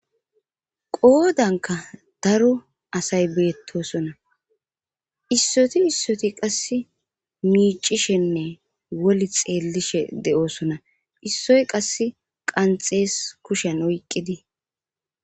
Qoodanka daro asay beettosona issoti issoti qass miicishenne woli xeellishe de7oosona issoy qass qanxees kushen oyqqidi